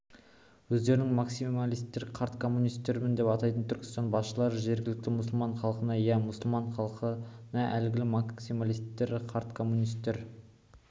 өздерін максималистер қарт коммунистер деп атайтын түркістан басшылары жергілікті мұсылман халқына иә мұсылман халқына әлгі максималистер қарт коммунистер